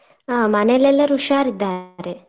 ಆ ಮನೇಲೆಲ್ಲರೂ ಹುಷಾರ್ ಇದ್ದಾರೆ.